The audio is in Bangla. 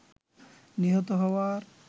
নিহত হওয়ার